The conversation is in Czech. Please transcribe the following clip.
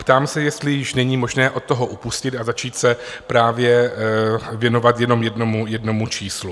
Ptám se, jestli již není možné od toho upustit a začít se právě věnovat jenom jednomu číslu.